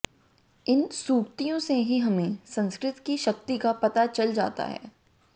इन सूक्तियों से ही हमें संस्कृत की शक्ति का पता चल जाता है